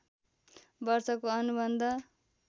वर्षको अनुबन्ध